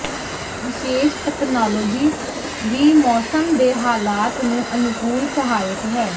ਵਿਸ਼ੇਸ਼ ਤਕਨਾਲੋਜੀ ਵੀ ਮੌਸਮ ਦੇ ਹਾਲਾਤ ਨੂੰ ਅਨੁਕੂਲ ਸਹਾਇਕ ਹੈ